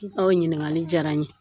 I ka o ɲinigali jara n ye